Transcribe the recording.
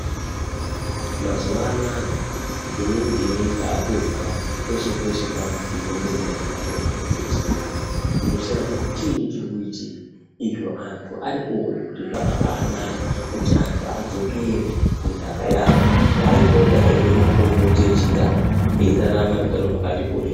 Mazuwa anoaya inini ndaakuzwa kweshe kweshe kwakubhuyiiwa ngenyaya yemakomboti echindau unoshaye kuti chiinyi chiri kuitika izvo antu arikuona kuti zvakabanaka kuti anhu adzokere kunhaka yavo kwaaipota eirye makomboti echindau eirarame upenyu hwakati kurei.